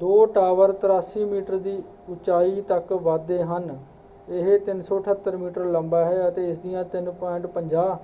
ਦੋ tower 83 metre ਦੀ ਉਚਾਈ ਤੱਕ ਵੱਧਦੇ ਹਨ ਇਹ 378 ਮੀਟਰ ਲੰਬਾ ਹੈ ਅਤੇ ਇਸਦੀਆਂ 3.50